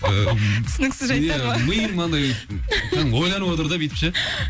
түсініксіз жайттар ма ия миым мынандай кәдімгі ойланып отыр да бүйтіп ше